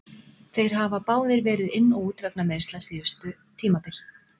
Þeir báðir hafa verið inn og út vegna meiðsla síðustu tímabil.